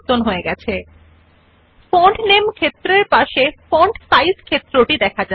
liberation Sans জন্য অনুসন্ধান করুন এবং এটি কেবল ক্লিক করুন Search for Liberation Sans and simply click on it